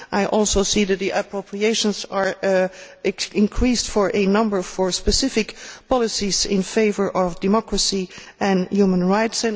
I also see that the appropriations have been increased for a number of specific policies in favour of democracy and human rights.